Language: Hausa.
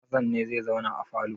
Hassan ne zai zauna a falo?